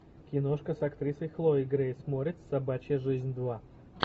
киношка с актрисой хлоей грейс морец собачья жизнь два